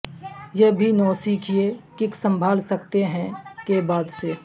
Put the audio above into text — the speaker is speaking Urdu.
یہ بھی نوسکھئیے کک سنبھال سکتے ہیں کے بعد سے